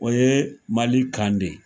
O ye Mali kan de